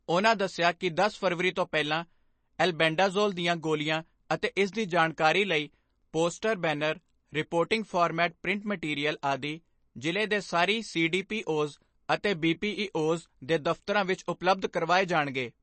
ਉਨ੍ਹਾਂ ਦੱਸਿਆ ਕਿ ਦਸ ਫਰਵਰੀ ਤੋਂ ਪਹਿਲਾਂ ਐਲਬੈਂਡਾਜੋਲ ਦੀਆਂ ਗੋਲੀਆਂ ਅਤੇ ਇਸ ਦੀ ਜਾਣਕਾਰੀ ਲਈ ਪੋਸਟਰ ਜਾਂ banner, reporting format print material ਆਦਿ ਜ਼ਿਲ੍ਹੇ ਦੇ ਸਾਰੇ ਸੀ ਡੀ ਪੀ ਓਜ਼ ਅਤੇ ਬੀ ਪੀ ਈ ਓਜ਼ ਦੇ ਦਫਤਰਾਂ ਵਿਖੇ ਉਪਲੱਬਧ ਕਰਵਾਏ ਜਾਣਗੇ।